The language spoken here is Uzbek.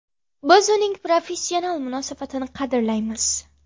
Biz uning professional munosabatini qadrlaymiz.